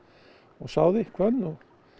sáði hvönn og